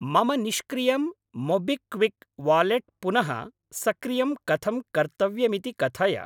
मम निष्क्रियं MobiKwik wallet पुनः सक्रियं कथं कर्तव्यमिति कथय।